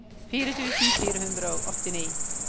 fire tusen fire hundre og åttini